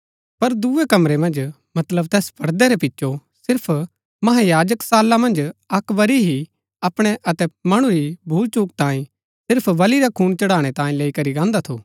पर दुऐ कमरै मन्ज मतलब तैस पड़दै रै पिचो सिर्फ महायाजक साला मन्ज अक्क बरी ही अपणै अतै मणु री भूलचुक तांई सिर्फ बलि रा खून चढ़ाणै तांये लैई करी गाहन्‍दा थू